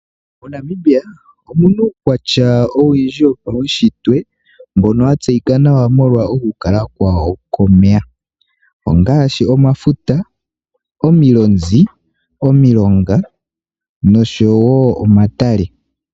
MoNamibia omuna uukwatya owundji wopaunshitwe mbono wa tseyika nawa molwa oku kala kwawo komeya, ongaashi omafuta, omilonzi, omilonga nosho wo omatale.